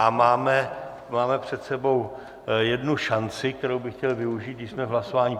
A máme před sebou jednu šanci, kterou bych chtěl využít, když jsme v hlasování.